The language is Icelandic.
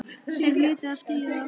Þeir hlutu að skilja það.